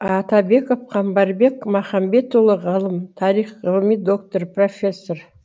атабаев қамбарбек махамбетұлы ғалым тарих ғылыми доктор проффесор